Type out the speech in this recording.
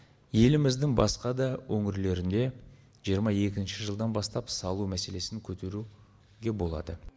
еліміздің басқа да өңірлерінде жиырма екінші жылдан бастап салу мәселесін көтеру болады